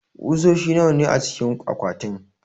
kusoshi nawa ne acikin akwatin?